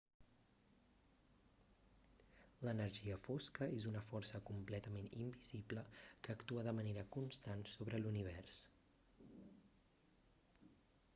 l'energia fosca és una força completament invisible que actua de manera constant sobre l'univers